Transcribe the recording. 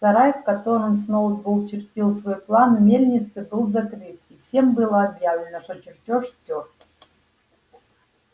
сарай в котором сноуболл чертил свой план мельницы был закрыт и всем было объявлено что чертёж стёрт